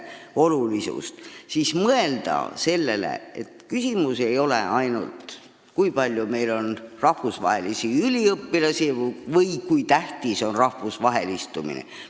Praegu tuleks mõelda ka sellele, et küsimus ei ole ainult selles, kui palju meil on rahvusvahelisi üliõpilasi või kui tähtis on rahvusvahelistumine.